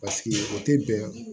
o tɛ bɛn